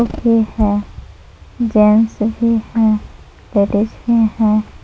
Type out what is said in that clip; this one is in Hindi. ए है जेंट्स भी हैं लेडीज भी हैं।